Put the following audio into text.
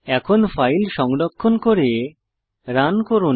এখন ফাইল সংরক্ষণ করে রান করুন